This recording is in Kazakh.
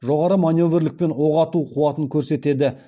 жоғары маневерлік пен оқ ату қуатын көрсетеді